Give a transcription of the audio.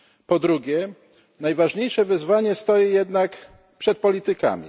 Po drugie, najważniejsze wyzwanie stoi jednak przed politykami.